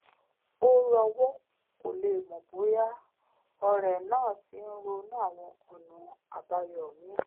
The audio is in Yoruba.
ó rowọ́ kó lè mọ̀ bóyá ọ̀rẹ́ rẹ̀ náà ti ronú àwọn ọ̀nà àbáyọ míì